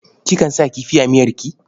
Kikan sa kifi a miyarki?